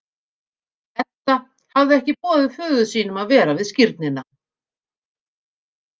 Edda hafði ekki boðið föður sínum að vera við skírnina.